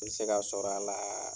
I bɛ se ka sɔrɔ a la